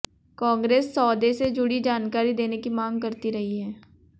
कांग्रेस सौदे से जुड़ी जानकारी देने की मांग करती रही है